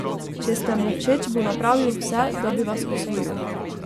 Če ste mu všeč, bo napravil vse, da bi vas osvojil.